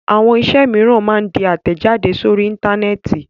Àwọn iṣẹ́ mìíràn máa ń di àtẹ̀jáde sórí Íńtánẹ́ẹ̀tì.